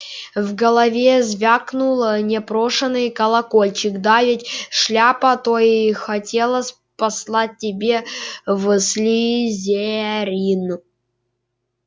в голове звякнул непрошеный колокольчик да ведь шляпа-то и хотела послать тебя в слизерин